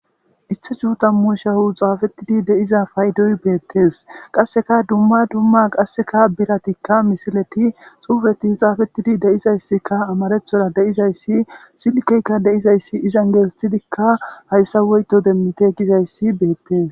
Ithi su tammu shawu xaafettidi deiza paydoy beettees qasseka dumma dumma qasseka bilatikka misileti xuufeti xaafettidi deizayssika amarethora deizayssi silkeykka deizayssi izan geesethidikka hayssa woyto demmite gizayssi beettees.